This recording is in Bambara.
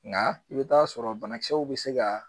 Nka i bɛ taa sɔrɔ banakisɛw bɛ se ka